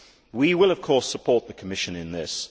We will, of course, support the Commission in this.